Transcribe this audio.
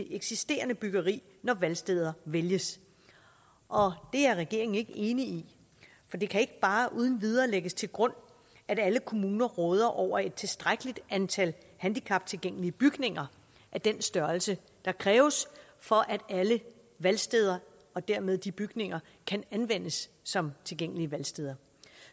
eksisterende byggeri når valgsteder vælges og det er regeringen ikke enig i for det kan ikke bare uden videre lægges til grund at alle kommuner råder over et tilstrækkeligt antal handicaptilgængelige bygninger af den størrelse der kræves for at alle valgsteder og dermed de bygninger kan anvendes som tilgængelige valgsteder